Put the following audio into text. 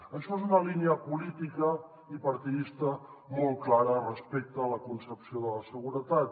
això és una línia política i partidista molt clara respecte a la concepció de la seguretat